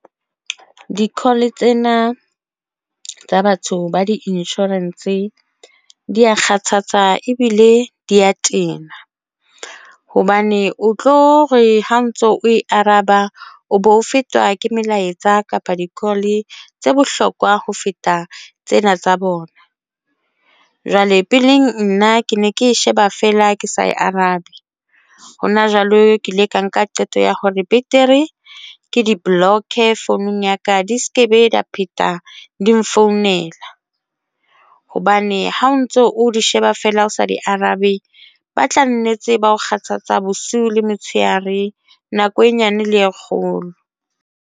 Di-call tsena tsa batho ba di-insurance di ya kgathatsa ebile di ya tena hobane o tlo re ha ntso o e araba, o bo fetwa ke melaetsa, kapa di-call tse bohlokwa ho feta tsena tsa bona. Jwale peleng nna ke ne ke e sheba feela ke sa e arabe hona jwale ke ile ka nka qeto ya hore betere ke di-block-e founung ya ka di se ke be ba pheta di nfounela hobane ha o ntso o di sheba feela o sa di arabe, ba tla nnetse ba ho kgathatsa bosiu le motsheare, nako e nyane le e kgolo.